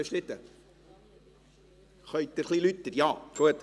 Können Sie sich bitte etwas lauter äussern?